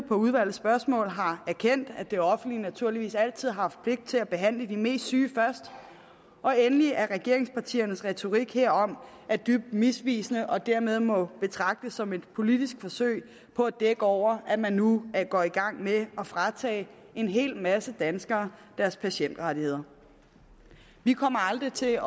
på udvalgets spørgsmål har erkendt at det offentlige naturligvis altid har haft pligt til at behandle de mest syge først og endelig at regeringspartiernes retorik herom er dybt misvisende og dermed må betragtes som et politisk forsøg på at dække over at man nu går i gang med at fratage en hel masse danskere deres patientrettigheder vi kommer aldrig til at